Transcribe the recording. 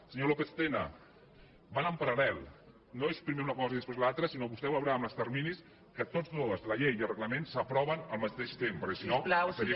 senyor lópez tena van en paral·lel no és primer una cosa i després l’altra sinó que vostè veurà amb els terminis que tots dos la llei i el reglament s’aproven al mateix temps perquè si no seria